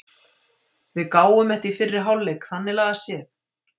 Við gáfum þetta í fyrri hálfleik þannig lagað séð.